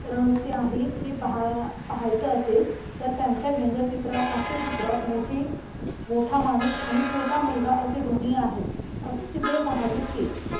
रहस्य आहे हे पाहायचं असेल तर त्यांच्या व्यंगचित्रात हास्य चित्रात मोठी मोठा माणूस आणि छोटा मुलगा असे दोन्ही आहेत असे चित्रे पहावे ते